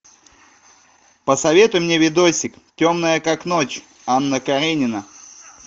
посоветуй мне видосик темная как ночь анна каренина